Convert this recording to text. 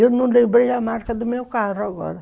Eu não lembrei a marca do meu carro agora.